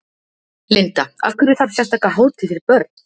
Linda: Af hverju þarf sérstaka hátíð fyrir börn?